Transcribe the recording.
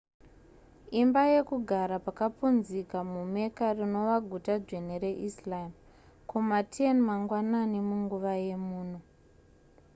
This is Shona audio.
imba yekugara pakapunzika mumecca rinova guta dzvene reislam kuma 10 mangwanani munguva yemuno